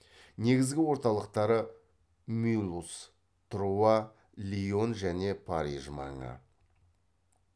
негізгі орталықтары мюлуз труа лион және париж маңы